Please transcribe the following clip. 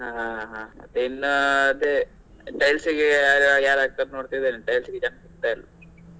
ಹಾ ಹಾ ಹಾ ಹಾ ಇನ್ನಾ ಅದೇ tiles ಗೆ ಯಾ~ ಯಾರ್ ಹಾಕತಾರೆ ನೋಡ್ತಿದ್ದೇನೆ tiles ಸಿಗತ ಇಲ್ಲ.